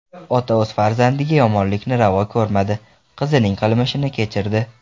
Ota o‘z farzandiga yomonlikni ravo ko‘rmadi: qizining qilmishini kechirdi.